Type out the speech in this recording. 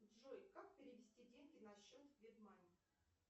джой как перевести деньги на счет вебмани